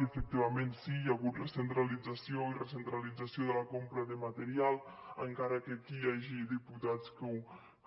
i efectivament sí hi ha hagut recentralització i recentralització de la compra de material encara que aquí hi hagi diputats que